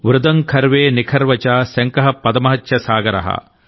వృదం ఖర్వే నిఖర్వ చ శంఖః పదమః చ సాగరః